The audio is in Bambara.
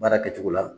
Baara kɛcogo la